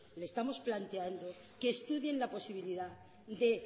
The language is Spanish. le estamos planteando que estudie la posibilidad de